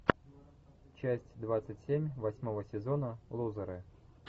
часть двадцать семь восьмого сезона лузеры